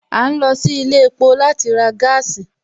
A ń lọ sí ilé epo láti ra gaasi